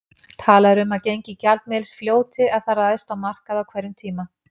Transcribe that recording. Talað er um að gengi gjaldmiðils fljóti ef það ræðst á markaði á hverjum tíma.